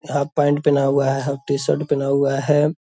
half pant पहना हुआ है हाफ टी-शर्ट पहना हुआ है --